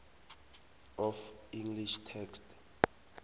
of english text